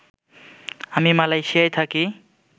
আমি মালয়েশিয়ায় থাকি